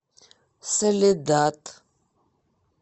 соледад